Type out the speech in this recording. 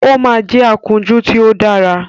Ó máa jẹ́ akúnjú tí ó dára